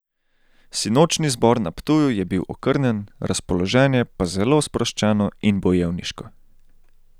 Sinočnji zbor na Ptuju je bil okrnjen, razpoloženje pa zelo sproščeno in bojevniško.